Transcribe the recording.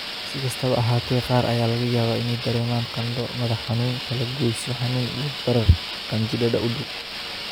Si kastaba ha ahaatee, qaar ayaa laga yaabaa inay dareemaan qandho, madax-xanuun, kalagoysyo xanuun iyo barar qanjidhada u dhow.